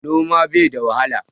Noma bai da wahala.